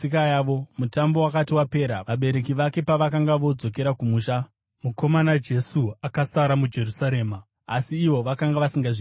Mutambo wakati wapera, vabereki vake pavakanga vodzokera kumusha, mukomana Jesu akasara muJerusarema, asi ivo vakanga vasingazvizivi.